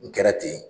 N kɛra ten